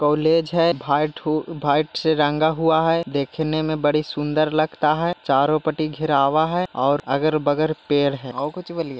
College हैं भाई थयु वाईट से रंगा हुआ हैं दिख ने बहुत सुंदर लग रहा हैंचरो पते राग हुआ हैंऔर आगक बगल पेड़ हैंऔर कुछ बलिये।